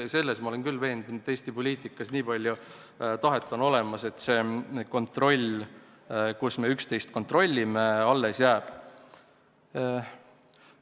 Selles ma olen küll veendunud, et Eesti poliitikas nii palju tahet on olemas, et see kontroll, mille abil me üksteist kontrollime, jääb alles.